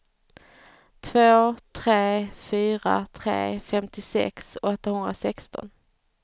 två tre fyra tre femtiosex åttahundrasexton